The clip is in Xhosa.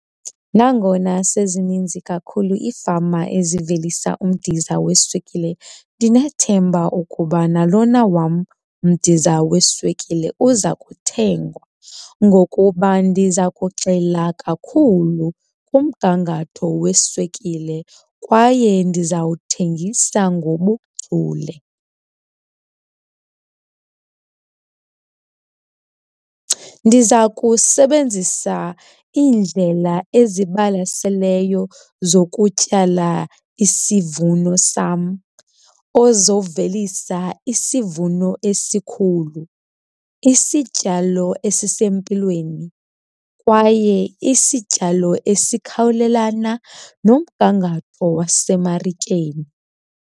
Nangona sezininzi kakhulu iifama ezivelisa umdiza weswekile ndinethemba ukuba nalona wam umidiza weswekile uza kuthengwa ngokuba ndiza kugxila kakhulu kumgangatho weswekile kwaye ndizawuthengisa ngobuchule. Ndiza kusebenzisa iindlela ezibalaseleyo zokutyala isivuno sam, ozovelisa isivuno esikhulu, isityalo esisempilweni kwaye isityalo esikhawulelana nomgangatho wasemarikeni.